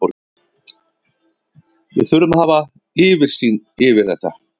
Við þurfum að hafa yfirsýn yfir þetta.